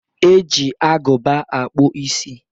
E ji agụba akpụ isi.